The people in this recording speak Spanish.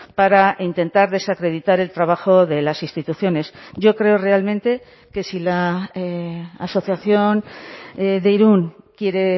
para intentar desacreditar el trabajo de las instituciones yo creo realmente que si la asociación de irún quiere